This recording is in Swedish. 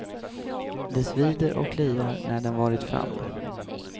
Det svider och kliar när den varit framme.